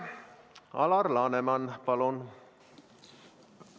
Alar Laneman, palun!